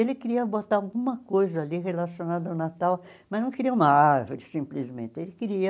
Ele queria botar alguma coisa ali relacionada ao Natal, mas não queria uma árvore simplesmente, ele queria...